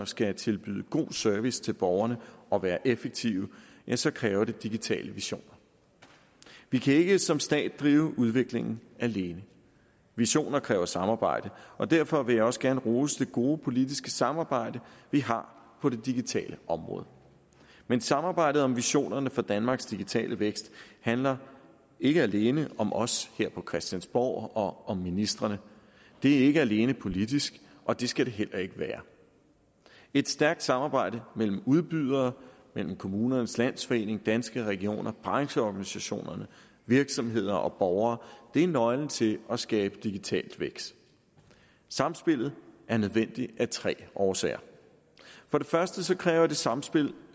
skal tilbyde god service til borgerne og være effektiv ja så kræver det digitale visioner vi kan ikke som stat drive udviklingen alene visioner kræver samarbejde og derfor vil jeg også gerne rose det gode politiske samarbejde vi har på det digitale område men samarbejdet om visionerne for danmarks digitale vækst handler ikke alene om os her på christiansborg og om ministrene det er ikke alene politisk og det skal det heller ikke være et stærkt samarbejde mellem udbydere mellem kommunernes landsforening danske regioner brancheorganisationer virksomheder og borgere er nøglen til at skabe digital vækst samspillet er nødvendigt af tre årsager for det første kræver det samspil